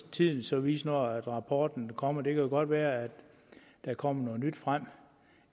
tiden så vise når rapporten kommer det jo godt være at der kommer noget nyt frem